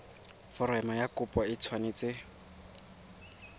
foromo ya kopo e tshwanetse